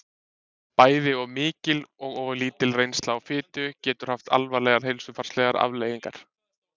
Bæði of mikil og of lítil neysla á fitu getur haft alvarlegar heilsufarslegar afleiðingar.